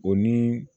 O ni